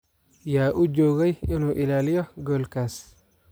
Yaa u joogay inuu ilaaliyo goolkaas?